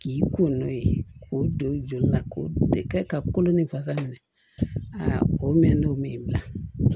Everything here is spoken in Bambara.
K'i ko n'o ye k'o don i joli la k'o de kɛ ka kolo ni fasa minɛ o mɛn'o min bila